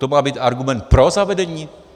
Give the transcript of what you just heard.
To má být argument pro zavedení?